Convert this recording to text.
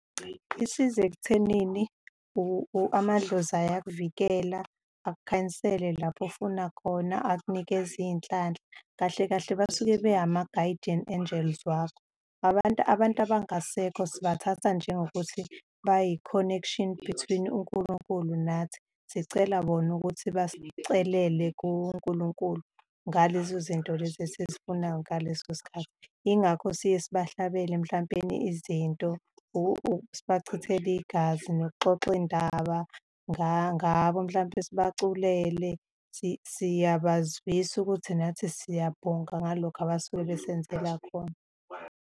Isiza ekuthenini amadlozi uyakuvikela, akukhanyisele lapho ofuna khona, akunikeze iy'nhlanhla. Kahle kahle basuke bengama-guardian angels wakho. Abantu abangasekho sibathatha njengokuthi bayi-connection between uNkulunkulu nathi, sicela bona ukuthi basicelele kuNkulunkulu ngalezo zinto lezo esizifunayo ngaleso sikhathi. Yingakho siye sibahlabela mhlampeni izinto, sibachithele igazi, nokuxoxa iy'ndaba ngabo, mhlampe sibaculele, siyabazwisisa ukuthi nathi siyabonga ngalokho abasuke besenzela khona.